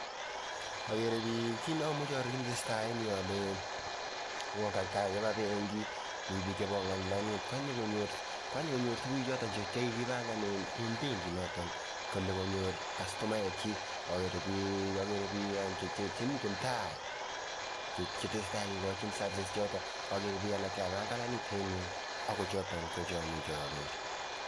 Agere bik, kit neamuche aaror kit netesetai eng yu ale Ian kakiba benki, mi bik chebongani lainit ,Kanye konyor